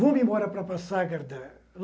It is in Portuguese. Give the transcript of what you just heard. Vamos embora para Passagarda.